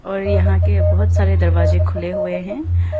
और यहां के बहोत सारे दरवाजे खुले हुए हैं।